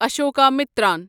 Ashokamitran